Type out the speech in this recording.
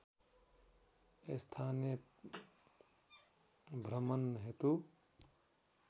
स्थानीय भ्रमण हेतु